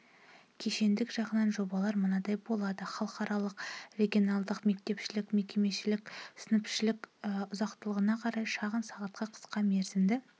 кешендік жағынан жобалар мынадай болады халықаралық регеналдық мектепішілік мекемеішілік сыныпішілік ұзақтығына қарай шағын сағатқа қысқа мерзімді